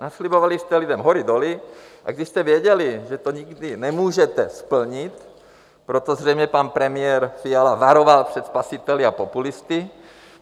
Naslibovali jste lidem hory doly, i když jste věděli, že to nikdy nemůžete splnit, proto zřejmě pan premiér Fiala varoval před spasiteli a populisty...